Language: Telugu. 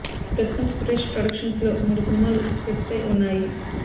ప్రస్తుతం సురేష్ ప్రొడక్షన్స్ లో మూడు సినిమాలు సెట్స్ పై ఉన్నాయి